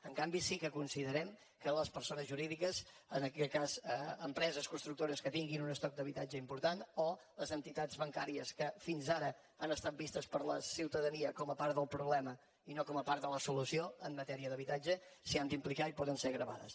en canvi sí que considerem que les persones jurídiques en aquest cas empreses constructores que tinguin un estoc d’habitatge important o les entitats bancàries que fins ara han estat vistes per la ciutadania com a part del problema i no com a part de la solució en matèria d’habitatge s’hi han d’implicar i poden ser gravades